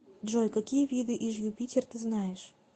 джой какие виды иж юпитер ты знаешь